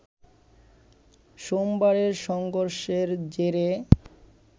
সোমবারের সংঘর্ষের জেরে